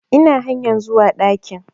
Ina hanyar zuwa ɗakin